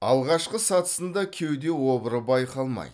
алғашқы сатысында кеуде обыры байқалмайды